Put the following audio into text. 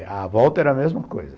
E a volta era a mesma coisa.